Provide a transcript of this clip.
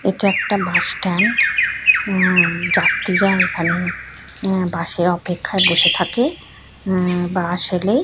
এটা একটা বাসস্ট্যান্ড হুউউউ যাত্রীরা এখানে হুউ বাস এর অপেক্ষায় বসে থাকে হুউউউ বাস এলে--